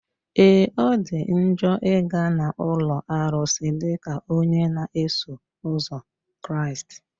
Ee! Ọ dị njọ ị ga na ụlọ arụsị dịka onye na-eso ụzọ Kraịst.